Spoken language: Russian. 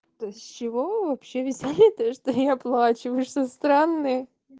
с чего вы вообще взяли то что я плачу вы что странные